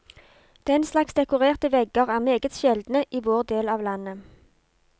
Den slags dekorerte vegger er meget sjeldne i vår del av landet.